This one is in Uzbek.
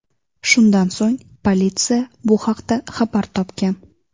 Shundan so‘ng, politsiya bu haqda xabar topgan.